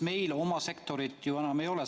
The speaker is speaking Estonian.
Meil oma sektorit siis ju enam ei ole.